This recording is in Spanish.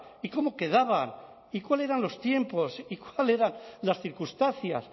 y cómo quedaba y cuáles eran los tiempos y cuáles eran las circunstancias